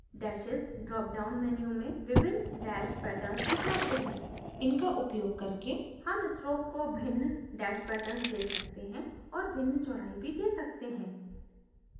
dashes drop down menu में विभिन्न dash patterns उपलब्ध हैं इनका उपयोग करके हम stroke को भिन्न dash patterns dash सकते हैं और भिन्न चौडाई भी dash सकते हैं